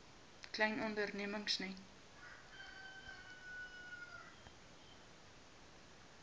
klein ondernemings net